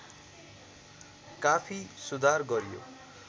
काफी सुधार गरियो